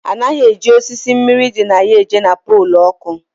A naghị eji osisi mmiri dị na ya eje na polu oku